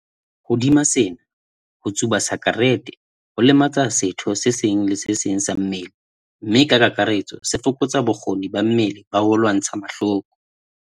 Hodima sena, ho tsuba sakerete ho lematsa setho se seng le se seng sa mmele mme ka kakaretso se fokotsa bokgoni ba mmele ba ho lwantsha mahloko.